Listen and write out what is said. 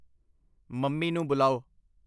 Mummy ਨੂੰ ਬੁਲਾਓ।